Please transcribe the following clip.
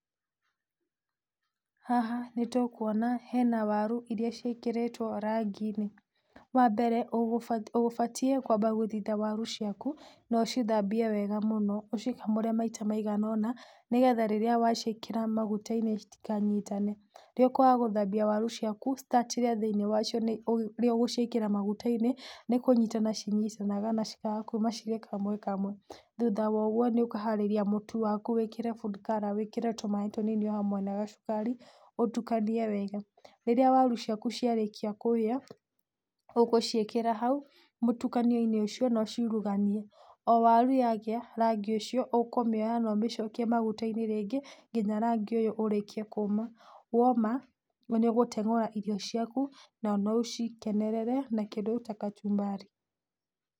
Haha nĩtũkũona hena warũ ĩrĩa ciĩkĩrĩtwo rangĩ inĩ wambere ũbatiĩ kwamba gũthĩtha warũ ciakũ no ũcithambie wega mũno ũcĩkamũre maĩta maiganona nĩgetha rĩrĩa waciĩkĩra magũta inĩ itĩkanyitane rĩrĩa ũkũaga gũthambia warũ ciakũ thĩinĩ wa cio nĩgũo ũgũciĩ kĩra magũta inĩ nĩkũnyitana cinyitanaga cĩkaga kũma cirĩ kamwe kamwe thũtha wa ũgũo nĩ ũkaharĩria mũtũ wakũ wĩkĩre food colour wĩkĩre tũmaĩ tũninfi o hamwe na gacũkari ũtũkanie wega rĩra warũ ciakũ ciarĩkĩa kũhĩa ,ũgũciĩkĩra haũ mũtũkanio inĩ ũcio ũciũrũganie o warũ yagĩa rangĩ ũcio ũkũmĩoya na ũmĩcokie magũtainĩ rĩngĩ nginya rangĩ ũyũ ũrĩkie kũma woma nĩũgũteng'ũra irio ciakũ na no ũcikenerere na kĩndũ ta kacũmbari.